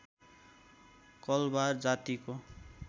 कलवार जातिको